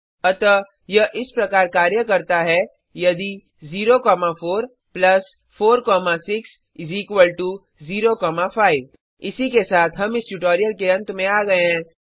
अतः यह इस प्रकार कार्य करता है यदि 0 4 4 6 0 5 इसी के साथ हम इस ट्यूटोरियल के अंत में आ गए हैं